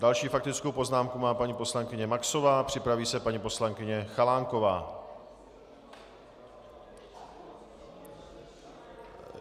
Další faktickou poznámku má paní poslankyně Maxová, připraví se paní poslankyně Chalánková.